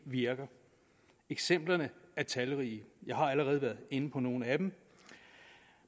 virker eksemplerne er talrige jeg har allerede været inde på nogle af dem